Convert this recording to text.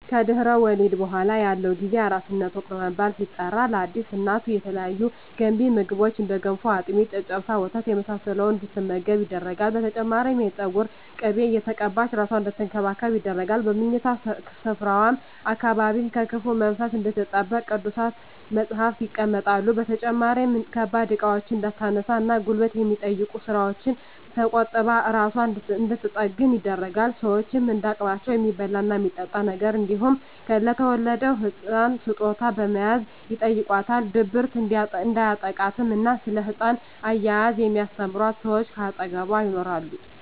ከድህረ ወሊድ በኃላ ያለው ጊዜ የአራስነት ወቅት በመባል ሲጠራ ለአዲስ እናት የተለያዩ ገንቢ ምግቦች እንደ ገንፎ፣ አጥሚት፣ ጨጨብሳ፣ ወተት የመሳሰለውን እንድትመገብ ይደረጋል። በተጨማሪም የፀጉር ቅቤ እየተቀባች እራሷን አንድትንከባከብ ይደረጋል። በምኝታ ስፍራዋ አካባቢም ከክፉ መንፈስ እንድትጠበቅ ቅዱሳት መፀሃፍት ይቀመጣሉ። በተጨማሪም ከባድ እቃዎችን እንዳታነሳ እና ጉልበት ከሚጠይቁ ስራወች ተቆጥባ እራሷን እንድንትጠግን ይደረጋል። ሸወችም እንደ አቅማቸው የሚበላ እና የሚጠጣ ነገር እንዲሁም ለተወለደዉ ህፃን ስጦታ በመያዝ ይጨይቋታል። ድብርት እንዲያጠቃትም እና ስለ ህፃን አያያዝ የሚስተምሯት ሰወች ከአጠገቧ ይኖራሉ።